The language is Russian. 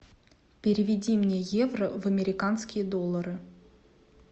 переведи мне евро в американские доллары